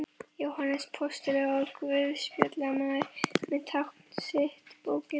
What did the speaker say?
Jóhannes postuli og guðspjallamaður með tákn sitt bókina.